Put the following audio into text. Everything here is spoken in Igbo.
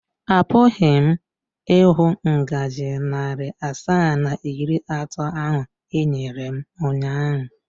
Apụghị m ịhụ ngaji narị asaa na iri atọ ahụ i nyere m ụnyaahụ.